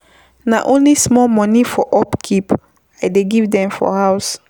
Na only small moni for upkeep I dey give dem for house.